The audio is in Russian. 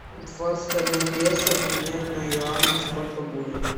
двадцать одна песо поменять на юани сколько будет